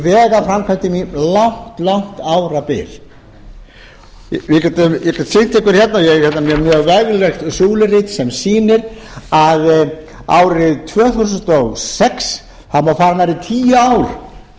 vegaframkvæmdum um langt árabil ég er hérna með mjög veglegt súlurit sem sýnir að árið tvö þúsund og sex það má fara nærri tíu ár